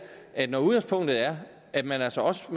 at når udgangspunktet er at man altså også